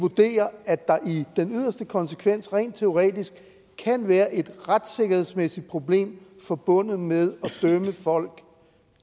vurdere at der er i den yderste konsekvens rent teoretisk kan være et retssikkerhedsmæssigt problem forbundet med at dømme folk